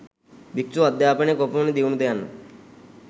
භික්ෂු අධ්‍යාපනය කොපමණ දියුණුද යන්න